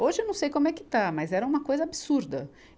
Hoje eu não sei como é que está, mas era uma coisa absurda.